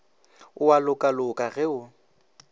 o a lokaloka ge o